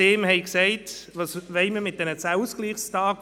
Sie hätten ihm gesagt: «Was wollen wir mit diesen 10 Ausgleichstagen?